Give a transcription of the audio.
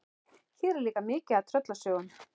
Hér er líka mikið af tröllasögum.